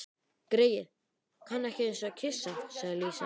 Greyið, kann ekki einusinni að kyssa, sagði Lísa.